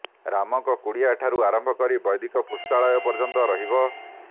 ରାମଙ୍କ କୁଡିଆ ଠାରୁ ଆରମ୍ଭ କରି ବୈଦିକ ପୁସ୍ତକାଳୟ ପର୍ଯ୍ୟନ୍ତ ରହିବ